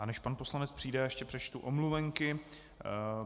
A než pan poslanec přijde, ještě přečtu omluvenky.